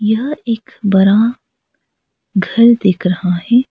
यह एक बड़ा घर दिख रहा है।